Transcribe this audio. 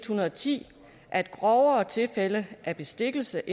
hundrede og ti at grovere tilfælde af bestikkelse